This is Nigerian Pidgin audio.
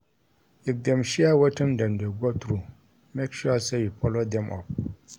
If them share wetin dem dey go through make sure say you follow them up